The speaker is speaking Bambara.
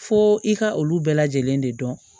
Fo i ka olu bɛɛ lajɛlen de dɔn